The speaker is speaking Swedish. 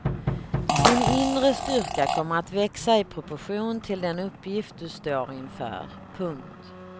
Din inre styrka kommer att växa i proportion till den uppgift du står inför. punkt